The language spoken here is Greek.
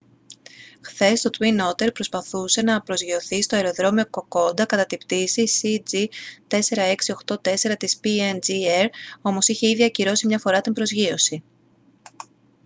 χθες το twin otter προσπαθούσε να προσγειωθεί στο αεροδρόμιο κοκόντα κατά την πτήση cg4684 της png air όμως είχε ήδη ακυρώσει μια φορά την προσγείωση